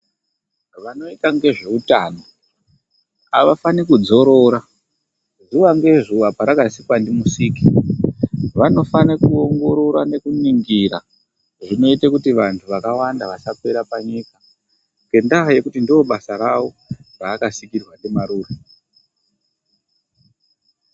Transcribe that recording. Vanoita ngezveutano avafaniri kudzorora zuwa ngezuwa parakasikwa ndiMusiki. Vanofane kuongorora nekuningira zvinoita kuti vantu vakawanda vasapera panyika ngendaa yekuti ndobasa ravo raakasikirwa ndimarure.